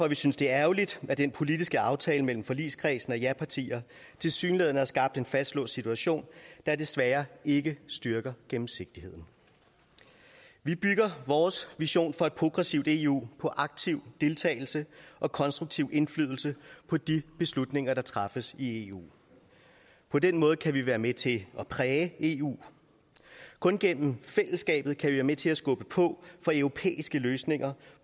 vi synes det er ærgerligt at den politiske aftale mellem forligskredsen af japartier tilsyneladende har skabt en fastlåst situation der desværre ikke styrker gennemsigtigheden vi bygger vores vision for et progressivt eu på aktiv deltagelse og konstruktiv indflydelse på de beslutninger der træffes i eu på den måde kan vi være med til at præge eu kun gennem fællesskabet kan vi være med til at skubbe på for europæiske løsninger